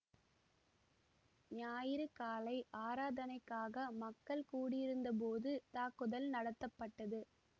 ஞாயிறு காலை ஆராதனைக்காக மக்கள் கூடியிருந்த போது தாக்குதல் நடத்தப்பட்டது